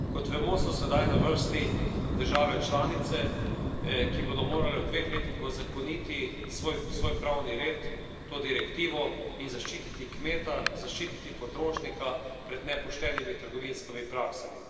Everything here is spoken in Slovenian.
Kot vemo, so sedaj na vrsti države članice, ki bodo morale v dveh letih uzakoniti v svoj pravni red to direktivo in zaščititi kmeta, zaščititi potrošnika pred nepoštenimi trgovinskimi praksami.